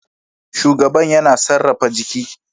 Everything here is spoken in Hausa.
Shugaban yana sarrafa jiki